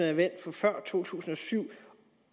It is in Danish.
er valgt før to tusind og syv